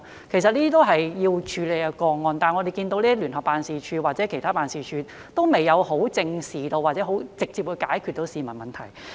這些都是要處理的個案，但我們看到聯辦處或其他辦事處，都未有正視或可直接解決市民的問題。